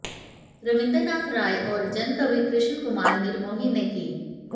रवींद्रनाथ राय और जनकवि कृष्ण कुमार निर्मोही ने की